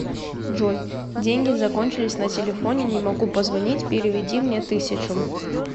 джой деньги закончились на телефоне не могу позвонить переведи мне тысячу